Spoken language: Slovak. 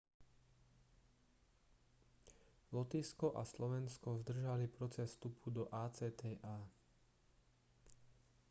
lotyšsko a slovensko zdržali proces vstupu do acta